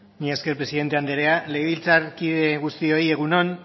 mila esker presidente anderea legebiltzarkide guztioi egun on